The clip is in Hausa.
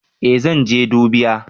Eh zan je dubiya